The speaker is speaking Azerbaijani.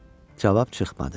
Cavab çıxmadı.